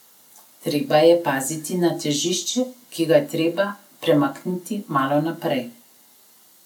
Treba je paziti na težišče, ki ga je treba premakniti malo naprej.